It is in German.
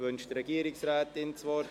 Wünscht die Regierungsrätin das Wort?